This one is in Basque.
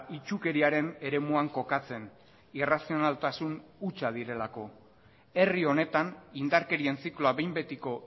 itsukeriaren eremuan kokatzen irrazionaltasun hutsa direlako herri honetan indarkerien zikloa behin betiko